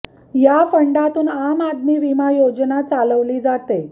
या फंडातून आम आदमी विमा योजना चालवली जाते